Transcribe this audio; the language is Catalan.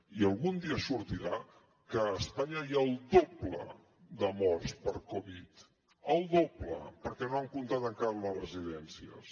i algun dia sortirà que a espanya hi ha el doble de morts per covid el doble perquè no han comptat encara les residències